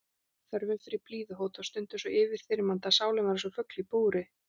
Þörfin fyrir blíðuhót var stundum svo yfirþyrmandi að sálin var einsog fugl í búri.